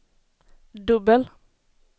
dubbel